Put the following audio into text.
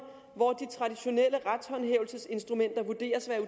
hvor de traditionelle retshåndhævelsesinstrumenter vurderes at